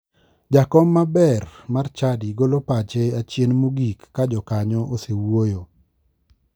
Jakom maber mar chadi golo pache achien mogik ka jokanyo osewuoyo.